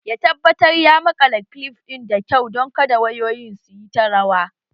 Ya tabbatar ya maƙala kilif ɗin da kyau don kada wayoyin su yi ta rawa